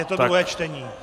Je to druhé čtení.